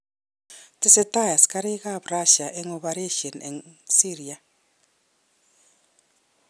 Tesetei askarik ab Rasia ak operesyen eng Syria